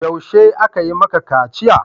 Yaushe aka yi maka kaciya?